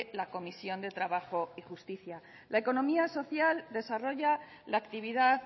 la comisión de trabajo y justicia la economía social desarrolla la actividad